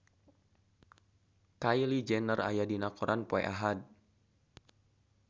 Kylie Jenner aya dina koran poe Ahad